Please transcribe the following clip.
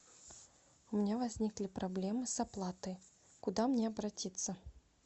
у меня возникли проблемы с оплатой куда мне обратиться